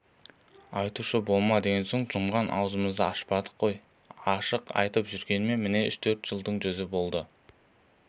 айтушы болма деген соң жұмған аузымызды ашпадық қой ашық айтып жүргеніме міне үш-төрт жылдың жүзі